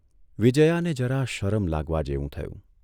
વિજયાને જરા શરમ લાગવા જેવું થયું.